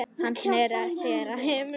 Hann sneri sér að hinum.